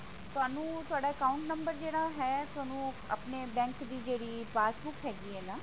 ਤੁਹਾਨੂੰ ਤੁਹਾਡਾ account number ਜਿਹੜਾ ਹੈ ਤੁਹਾਨੂੰ ਆਪਣੇ bank ਦੀ ਜਿਹੜੀ passbook ਹੈਗੀ ਹੈ ਨਾ